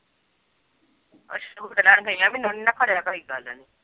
ਅਛਾ